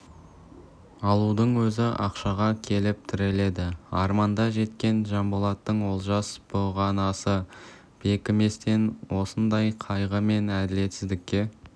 алудың өзі ақшаға келіп тіреледі арманда кеткен жанболаттың олжасы бұғанасы бекіместен осындай қайғы мен әділетсіздікке